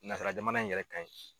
Nasara jamana in yɛrɛ ka in